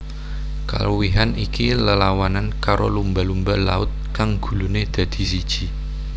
Kaluwihan iki lelawanan karo lumba lumba laut kang guluné dadi siji